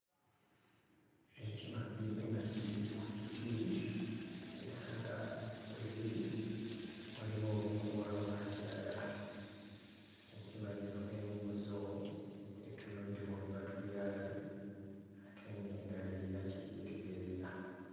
Enkima bbiri nga ziri ku kiti era nga we ziri waliwo obukoola obwakiragala enkima zino emu ku zo etunudde mu bibatu byayo ate ng'endala eyina kye yeetegereza.